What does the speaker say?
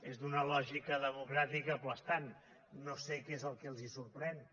és d’una lògica democràtica aclaparadora no sé què és el que els sorprèn